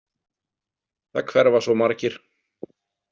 Það hverfa svo margir.